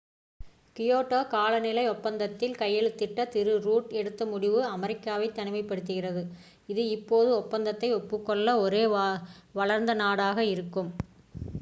Kyoto காலநிலை ஒப்பந்தத்தில் கையெழுத்திட திரு ரூட் எடுத்த முடிவு அமெரிக்காவை தனிமைப்படுத்துகிறது இது இப்போது ஒப்பந்தத்தை ஒப்புக் கொள்ளாத ஒரே வளர்ந்த நாடாக இருக்கும்